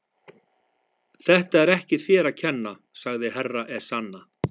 Þetta er ekki þér að kenna, sagði Herra Ezana.